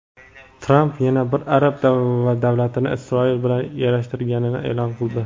Tramp yana bir arab davlatini Isroil bilan yarashtirganini e’lon qildi.